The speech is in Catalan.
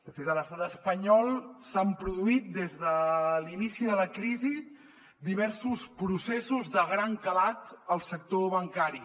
de fet a l’estat espanyol s’han produït des de l’inici de la crisi diversos processos de gran calat al sector bancari